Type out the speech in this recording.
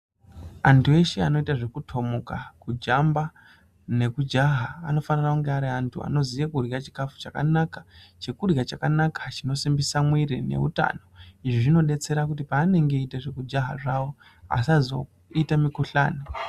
Antu eshe anoite zvekutomuka, kujamba nekujaha anofanire kunge ari antu anozive kurya chikafu chakanaka, chekurya chakanaka chinosimbisa muwiri neutano, izvi zvinodetsera kuti paanenge echiita zvekujaha zvawo asazoite mikhuhlani.